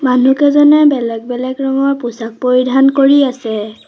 মানুহকেইজনে বেলেগ বেলেগ ৰঙৰ পোচাক পৰিধান কৰি আছে।